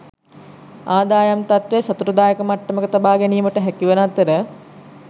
ආදායම් තත්ත්වය සතුටුදායක මට්ටමක තබා ගැනීමට හැකිවන අතර